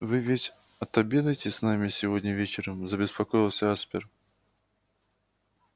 вы ведь отобедаете с нами сегодня вечером забеспокоился аспер